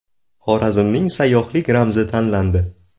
Xorazmning sayyohlik ramzi tanlandi.